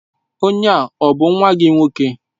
Onye a ọ bụ nwa gị nwoke?